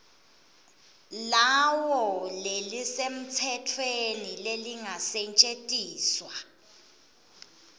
lawo lelisemtsetfweni lelingasetjentiswa